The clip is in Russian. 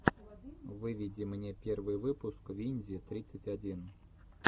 выведи мне первый выпуск винди тридцать один